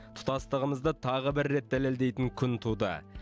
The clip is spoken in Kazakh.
тұтастығымызды тағы бір рет дәлелдейтін күн туды